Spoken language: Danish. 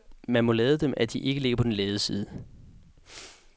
Man må lade dem, at de ligger ikke på den lade side.